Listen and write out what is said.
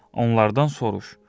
Onlardan soruş,